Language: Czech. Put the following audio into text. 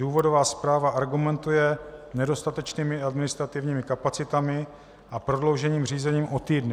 Důvodová zpráva argumentuje nedostatečnými administrativními kapacitami a prodloužením řízení o týdny.